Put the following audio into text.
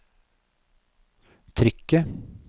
trykket